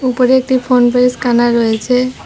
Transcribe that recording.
উপরে একটি PhonePe scanner রয়েছে।